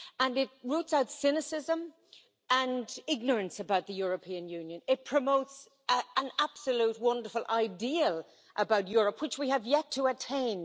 It roots out cynicism and ignorance about the European Union, and promotes an absolutely wonderful ideal for Europe, which we have yet to attain.